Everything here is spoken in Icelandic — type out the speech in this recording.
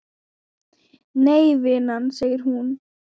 Nei vinan, segir hún.